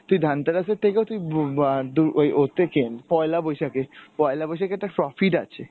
তুই ধানতেরাস এর থেকেও তুই বু বা ওই ওতে কেন, পয়লা বৈশাখে, পয়লা বৈশাখে একটা profit আছে।